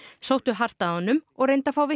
sóttu hart að honum og reyndu að fá